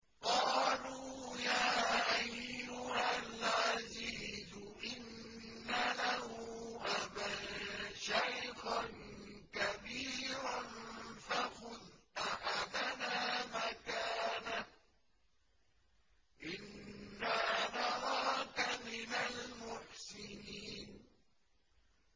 قَالُوا يَا أَيُّهَا الْعَزِيزُ إِنَّ لَهُ أَبًا شَيْخًا كَبِيرًا فَخُذْ أَحَدَنَا مَكَانَهُ ۖ إِنَّا نَرَاكَ مِنَ الْمُحْسِنِينَ